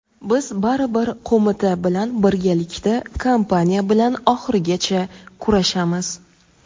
biz baribir qo‘mita bilan birgalikda kompaniya bilan oxirigacha kurashamiz.